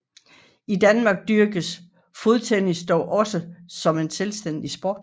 I Danmark dyrkes fodtennis dog også som selvstændig sport